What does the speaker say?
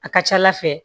A ka ca ala fɛ